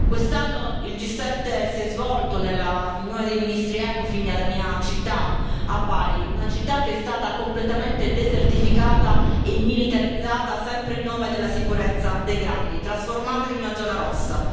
Quest'anno il G7 si è svolto nella riunione dei ministri Ecofin nella mia città, a Bari, una città che è stata completamente desertificata e militarizzata, sempre in nome della sicurezza dei grandi, trasformata in una zona rossa.